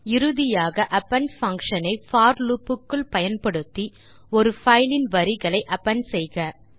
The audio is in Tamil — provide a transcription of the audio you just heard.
மற்றும் இறுதியாக அப்பெண்ட் பங்ஷன் ஐ போர் லூப் க்குள் பயன்படுத்தி ஒரு பைல் இன் வரிகளை அப்பெண்ட் செய்க